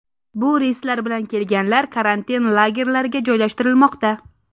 Bu reyslar bilan kelganlar karantin lagerlariga joylashtirilmoqda.